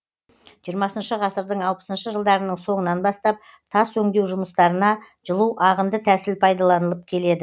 жиырмасыншы ғасырдың алпысыншы жылдарының соңынан бастап тас өндеу жұмыстарына жылу ағынды тәсіл пайдаланылып келеді